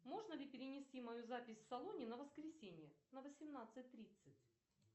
можно ли перенести мою запись в салоне на воскресенье на восемнадцать тридцать